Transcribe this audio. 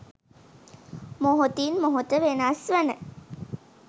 මොහොතින් මොහොත වෙනස්වන